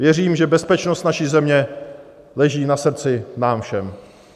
Věřím, že bezpečnost naší země leží na srdci nám všem.